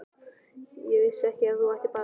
Ég vissi ekki að þú ættir barn?